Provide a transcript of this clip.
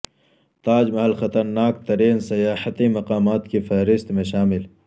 تاج محل خطرناک ترین سیاحتی مقامات کی فہرست میں شامل